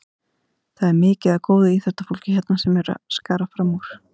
Það er mikið af góðu íþróttafólki hérna sem er að skara fram úr.